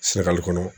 Sunakali kɔnɔ